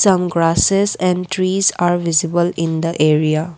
some grasses and trees are visible in the area.